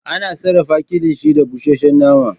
Ana sarafa kilishi da bushashe nama